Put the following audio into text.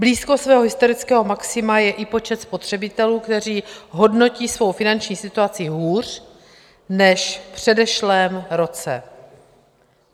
Blízko svého historického maxima je i počet spotřebitelů, kteří hodnotí svou finanční situaci hůř než v předešlém roce.